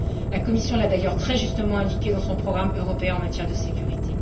La Commission l'a d'ailleurs très justement indiqué dans son programme européen en matière de sécurité.